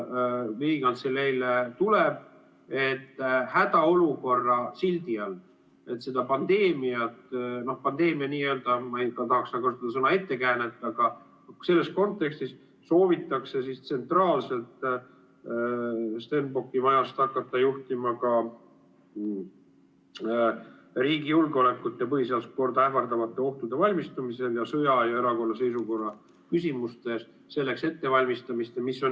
hädaolukorra sildi all seda pandeemia, ma ei tahaks kasutada sõna "ettekäänet", aga selles kontekstis soovitakse tsentraalselt Stenbocki majast hakata juhtima riigi julgeolekut ja põhiseaduslikku korda ähvardavateks ohtudeks valmistumist ning sõja- ja erakorralise seisukorra küsimustes selleks ettevalmistamist.